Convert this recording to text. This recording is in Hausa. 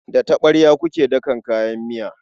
Da taɓarya muke dakan kayan miya.